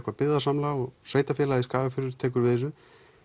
byggðasamlag og sveitarfélagið Skagafjörður tekur við þessu